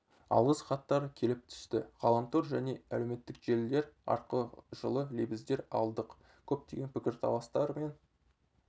алғыс хаттар келіп түсті ғаламтор және әлеуметтік желілер арқылы жылы лебіздер алдық көптеген пікірталастар мен